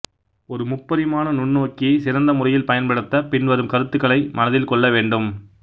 ஒரு முப்பருமான நுண்நோக்கியை சிறந்த முறையில் பயன்படுத்த பின்வரும் கருத்துக்களை மனதில் கொள்ள வேண்டும்